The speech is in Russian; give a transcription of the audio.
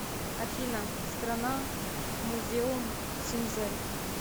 афина страна музеумсинзель